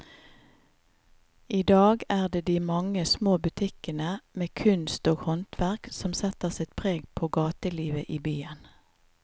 I dag er det de mange små butikkene med kunst og håndverk som setter sitt preg på gatelivet i byen.